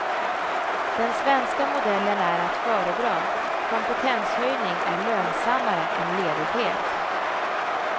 Den svenska modellen är att föredra, kompetenshöjning är lönsammare än ledighet.